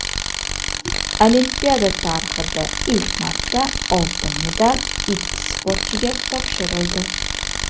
Olimpiada tarixida ilk marta oltin medal ikki sportchiga topshirildi.